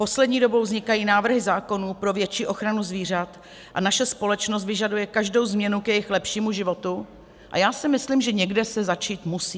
Poslední dobou vznikají návrhy zákonů pro větší ochranu zvířat a naše společnost vyžaduje každou změnu k jejich lepšímu životu, a já si myslím, že někde se začít musí.